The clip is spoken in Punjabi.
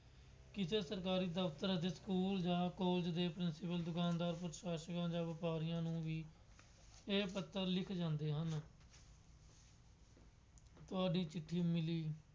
ਕਿਸੇ ਸਰਕਾਰੀ ਦਫਤਰ ਅਤੇ ਸਕੂਲ ਜਾਂ ਕਾਲਜ ਦੇ ਪ੍ਰਿੰਸੀਪਲ ਸਾਹਿਬਾਨ ਜਾਂ ਪ੍ਰਸ਼ਾਸ਼ਕਾਂ ਜਾਂ ਵਪਾਰੀਆਂ ਨੂੰ ਵੀ ਇਹ ਪੱਤਰ ਲਿਖੇ ਜਾਂਦੇ ਹਨ। ਤੁਹਾਡੀ ਚਿੱਠੀ ਮਿਲੀ।